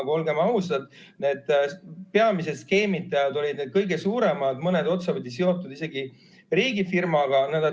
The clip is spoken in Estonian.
Aga olgem ausad, peamised skeemitajad on need kõige suuremad, mõni otsapidi seotud isegi riigifirmaga.